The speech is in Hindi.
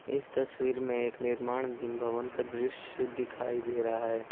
इस तस्वीर में एक निर्माण दिन भवन का दृश्य दिखाई दे रहा --